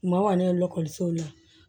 U ma kɔni ye ekɔlisow la